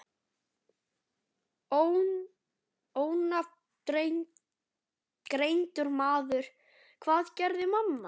Ónafngreindur maður: Hvað gerði mamman?